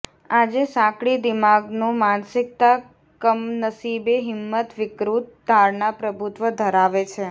આજે સાંકડી દિમાગનો માનસિકતા કમનસીબે હિંમત વિકૃત ધારણા પ્રભુત્વ ધરાવે છે